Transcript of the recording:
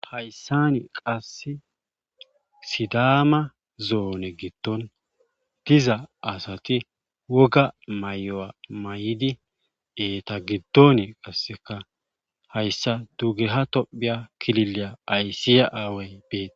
Hayssani qasse sidama zoone gittoniza asati woga may7o7a may7idi eta giddon qasseka hayssa dugeha tophiya kilileya aysiya aaway beeti.